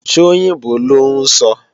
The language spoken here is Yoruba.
Ṣóyìnbó lọ́ ń sọ?